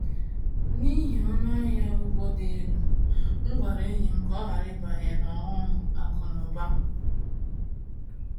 N’ihi ọnụ ahịa ụgwọ dị elu, m gwara enyi m ka ọ ghara ịbanye n’ọghọm akụ na ụba a.